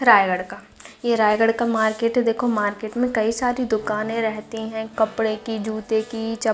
रायगढ़ का ये रायगढ़ का मार्केट है देखो मार्केट में कई सारी दुकाने रहती है कपड़े की जूते की चप--